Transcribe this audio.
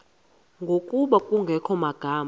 ngokuba kungekho magama